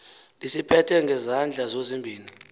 lisiphethe ngezandla zozibini